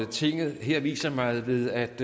tinget her viser mig ved at